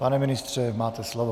Pane ministře, máte slovo.